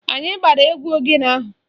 Anyị gbara egwu ogene ahụ